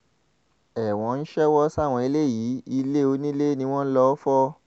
ẹ̀wọ̀n ń ṣèwọ sáwọn eléyìí ilẹ̀ onílẹ̀ ni wọ́n lọ́ọ́ fọ́